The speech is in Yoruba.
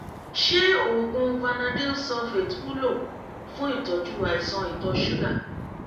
ṣé oògùn vanadyl sulfate wúlò fún ìtọ́jú àìsàn ìtọ̀ ṣúgà?